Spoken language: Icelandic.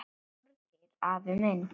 Þorgeir afi minn.